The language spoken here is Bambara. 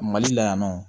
Mali la yan nɔ